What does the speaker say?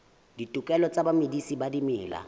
ditokelo tsa bamedisi ba dimela